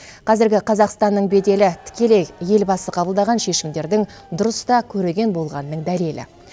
қазіргі қазақстанның беделі тікелей елбасы қабылдаған шешімдердің дұрыс та көреген болғанының дәлелі